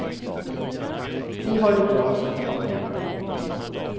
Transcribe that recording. Vi har det bra som vi har det.